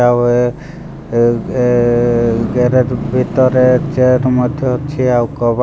ଆଉ ଏ ଏ ଏ ଗ୍ୟାରେଜ ଭିତରେ ଟେପ୍ ମଧ୍ୟ ଅଛି। ଆଉ କବା।